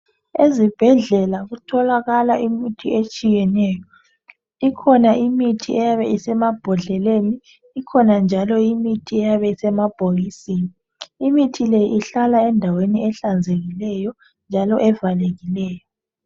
Ezibhedlela kutholakala imithi etshiyeneyo. Ikhona imithi eyabe isemabhodleleni ikhona njalo imithi eyabe isemabhokisini, imithi le ihlala endaweni ehlanzekileyo njalo evalekileyo.